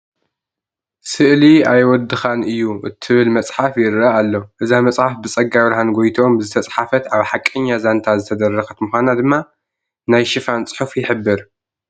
ስእሊ ኣይወድኻን እዩ ትብል መፅሓፍ ይርአ ኣሎ፡፡ እዛ መፅሓፍ ብፀጋብርሃን ጎይትኦም ዝተፃሕፈት ኣብ ሓቀኛ ዛንታ ዝተደረኸት ምዃና ድማ ናይ ሽፋን ፅሑፋ ይሕብር፡፡